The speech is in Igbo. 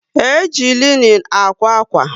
E jị linin ákwà akwa